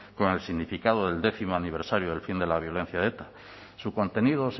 con el significado del décimo aniversario del fin de la violencia de eta su contenido